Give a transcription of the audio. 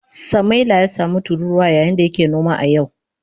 Samaila ya samu tururuwa yayin da yake noma a yau.